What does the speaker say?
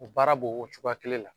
O baara b'o cogoya kelen la.